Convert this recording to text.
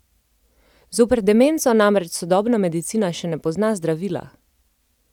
Zoper demenco namreč sodobna medicina še ne pozna zdravila!